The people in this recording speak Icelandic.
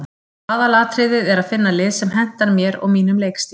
Aðalatriðið er að finna lið sem hentar mér og mínum leikstíl.